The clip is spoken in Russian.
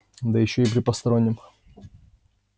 да ещё и при постороннем